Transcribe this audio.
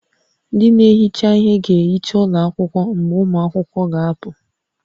Ndị na-ehicha ihe ga-ehicha ụlọ akwụkwọ mgbe ụmụ akwụkwọ ga-apụ